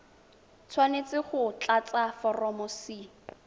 tshwanetse go tlatsa foromo c